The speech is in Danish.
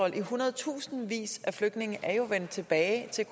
i hundredtusindvis af flygtninge er vendt tilbage til